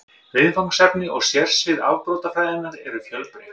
Viðfangsefni og sérsvið afbrotafræðinnar eru fjölbreytt.